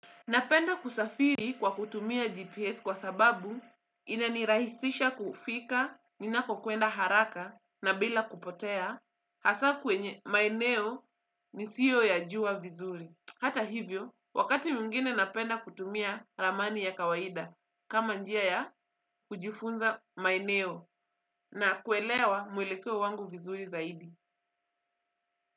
Napenda kusafiri kwa kutumia GPS kwa sababu ina nirahisisha kufika, ninapokwenda haraka na bila kupotea, hasa kwenye maeneo nisiyo ya juwa vizuri. Hata hivyo, wakati mwingine napenda kutumia ramani ya kawaida kama njia ya kujufunza maeneo na kuelewa mwelekeo wangu vizuri zaidi.